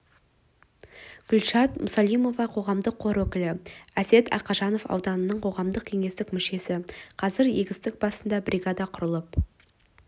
гүлшат мұсалимова қоғамдық қор өкілі әсет ақанжанов аудандық қоғамдық кеңестің мүшесі қазір егістік басында бригада құрылып